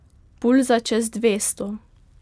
Pulza čez dvesto.